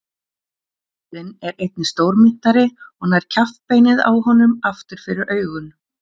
Urriðinn er einnig stórmynntari og nær kjaftbeinið á honum aftur fyrir augun.